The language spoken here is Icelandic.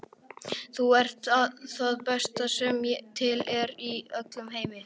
Þú ert það besta sem til er í öllum heiminum.